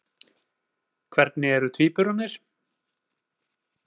Hvernig eru tvíburarnir?